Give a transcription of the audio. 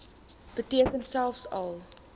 beteken selfs al